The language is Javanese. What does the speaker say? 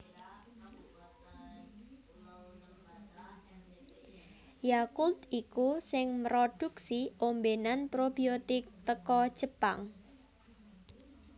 Yakult iku sing mroduksi ombenan probiotik teko Jepang